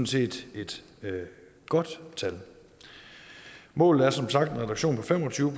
set et godt tal målet er som sagt en reduktion på fem og tyve